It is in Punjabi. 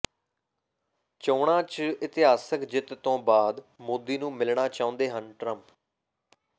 ਚੋਣਾਂ ਚ ਇਤਿਹਾਸਕ ਜਿੱਤ ਤੋਂ ਬਾਅਦ ਮੋਦੀ ਨੂੰ ਮਿਲਣਾ ਚਾਹੁੰਦੇ ਹਨ ਟਰੰਪ